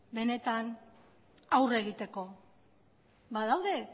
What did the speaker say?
benetan aurre egiteko badaude